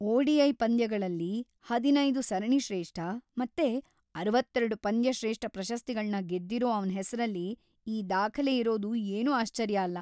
ODI. ಪಂದ್ಯಗಳಲ್ಲಿ ಹದಿನೈದು ಸರಣಿಶ್ರೇಷ್ಠ ಮತ್ತೆ ಅರವತ್ತೆರಡು ಪಂದ್ಯಶ್ರೇಷ್ಠ ಪ್ರಶಸ್ತಿಗಳ್ನ ಗೆದ್ದಿರೋ ಅವ್ನ್‌ ಹೆಸ್ರಲ್ಲಿ ಈ ದಾಖಲೆ ಇರೋದು ಏನೂ ಆಶ್ಚರ್ಯ ಅಲ್ಲ.